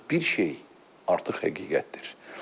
Ancaq bir şey artıq həqiqətdir.